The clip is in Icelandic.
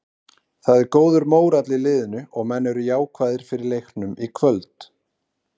Það er góður mórall í liðinu og menn eru jákvæðir fyrir leiknum í kvöld.